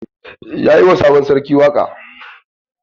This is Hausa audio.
Ya yi wa sabon sarki waƙa?